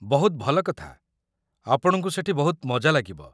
ବହୁତ ଭଲ କଥା, ଆପଣଙ୍କୁ ସେଠି ବହୁତ ମଜା ଲାଗିବ ।